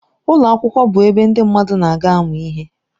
Ụlọ akwụkwọ bụ ebe ndị mmadụ na-aga amụ ihe.